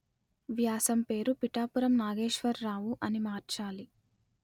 వ్యాసం పేరు పిఠాపురం నాగేశ్వరరావు అని మార్చాలి